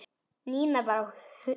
Nína var á þönum.